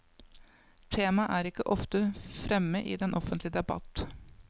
Temaet er ikke ofte fremme i den offentlige debatt.